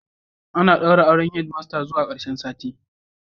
Ana daura auren Head master zuwa karshen sati